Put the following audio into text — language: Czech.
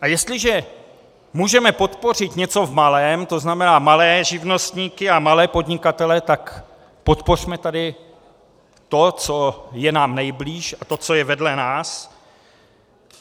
A jestliže můžeme podpořit něco v malém, to znamená malé živnostníky a malé podnikatele, tak podpořme tady to, co je nám nejblíž, a to, co je vedle nás.